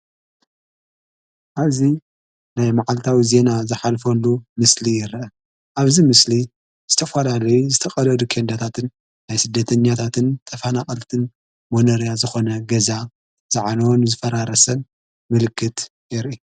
ኣዙ ናይ መዓልታዊ እዜና ዝኃልፈሉ ምስሊ ይረ ኣብዚ ምስሊ ዝተፍላለይ ዝተቐደዱ ኬንዳታትን ናይ ሥደተኛታትን ተፋና ዓልትን ሞነርያ ዝኾነ ገዛ ዝዓነወን ዝፈራረሰን ምልክት የርኢ።